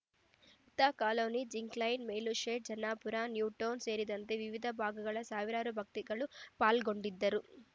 Hutta colony Zinc Line Velur shed Jannapura New Town ಸೇರಿದಂತೆ ವಿವಿಧ ಭಾಗಗಳ ಸಾವಿರಾರು ಭಕ್ತಿಗಳು ಪಾಲ್ಗೊಂಡಿದ್ದರು